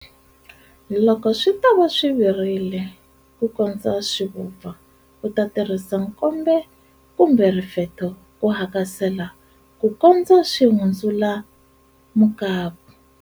Loko swi tava swi virile ku kondza swi vupfa u ta tirhisa nkombe kumbe rifetho ku hakasela ku kondza swi hundzuka mukapu.